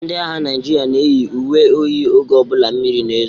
Ndị agha Naijiria na eyi uwe oyi oge ọbụla mmiri na-ezo.